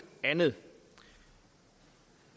andet